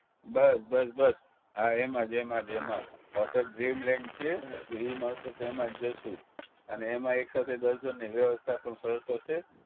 બસ બસ બસ હા એમ જ એમ જ એમ જ hotel dreamland છે જો ઈ મળશે તો એમાં જ જશું અને એમાં એક સાથે દસ જણની વ્યવસ્થા પણ સરસ હશે